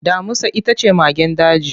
Damusa ita ce magen daji.